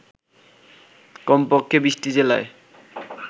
কমপক্ষে ২০টি জেলায়